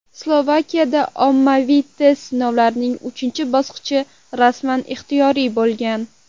Slovakiyada ommaviy test sinovlarining uchinchi bosqichi rasman ixtiyoriy bo‘lgan.